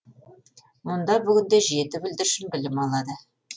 мұнда бүгінде жеті бүлдіршін білім алады